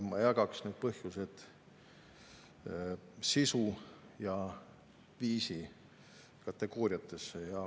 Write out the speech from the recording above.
Ma jagaksin need põhjused sisu- ja viisikategooriatesse.